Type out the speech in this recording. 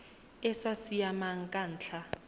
e sa siamang ka ntlha